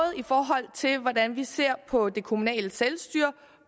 i forhold til hvordan vi ser på det kommunale selvstyre og